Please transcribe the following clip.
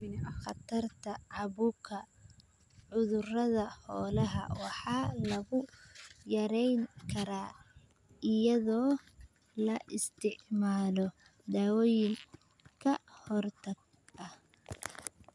Khatarta caabuqa cudurrada xoolaha waxa lagu yarayn karaa iyadoo la isticmaalo dawooyin ka hortag ah.